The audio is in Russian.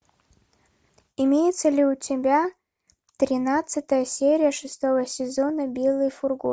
имеется ли у тебя тринадцатая серия шестого сезона белый фургон